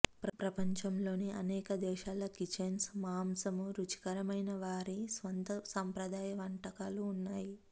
ప్రపంచంలోని అనేక దేశాల కిచెన్స్ మాంసం రుచికరమైన వారి స్వంత సంప్రదాయ వంటకాలు ఉన్నాయి